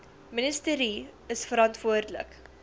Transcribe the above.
ministerie is verantwoordelik